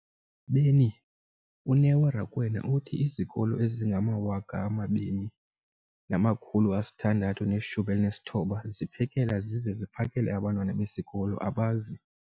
beni, uNeo Rakwena, uthi izikolo ezingama-20 619 ziphekela zize ziphakele abantwana besikolo abazi-